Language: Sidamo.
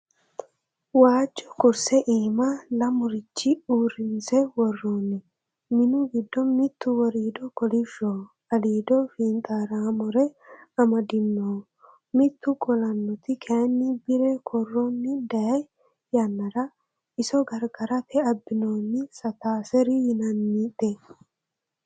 Waajo kurse iima lamericho uurrinse worooni minu giddo mitu woriido kolishshoho aliido fixaramore amadinoho mitu qolanoti kayinni bire koronu dayi yannara iso gargarara abbinoni Sataseri yinannite.